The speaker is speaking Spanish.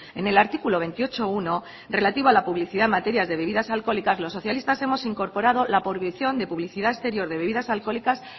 en el artículo veintiocho punto uno relativo a la publicidad en materia de bebidas alcohólicas los socialistas hemos incorporado la prohibición de publicidad exterior de bebidas alcohólicas